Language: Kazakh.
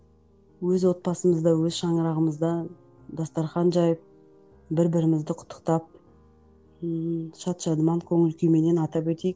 өз отбасымызда өз шаңырағымызда дастархан жайып бір бірімізді құттықтап ммм шат шадыман көңіл күйменен атап өтейік